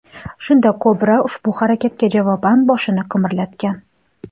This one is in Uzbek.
Shunda kobra ushbu harakatga javoban boshini qimirlatgan.